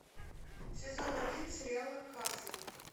сезон один сериала касл